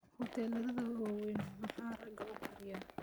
huteladha waweyn maxaa rag ukariya